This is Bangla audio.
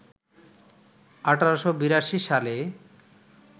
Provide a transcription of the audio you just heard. ১৮৮২ সালে